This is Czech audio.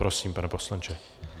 Prosím, pane poslanče.